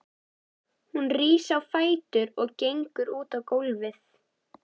Hún rís á fætur og gengur út á gólfið.